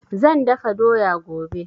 Zan dafa doya gobe